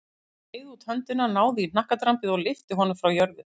Ég teygði út höndina, náði í hnakkadrambið og lyfti honum frá jörðu.